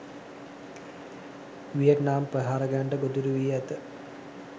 Vietnam ප්‍රහාරකයන්ට ගොදුරු වී ඇත.